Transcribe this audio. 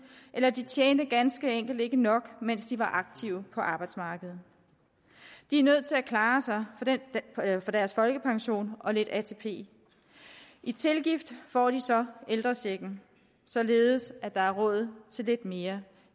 eller de tjente ganske enkelt ikke nok mens de var aktive på arbejdsmarkedet de er nødt til at klare sig for deres folkepension og lidt atp i i tilgift får de så ældrechecken således at der er råd til lidt mere